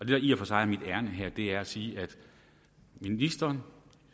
der i og for sig er mit ærinde her er at sige at ministeren